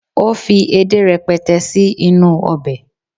o fi edé rẹpẹtẹ sí inú obe